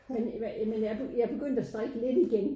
Men jamen jeg jeg begyndt at strikke lidt igen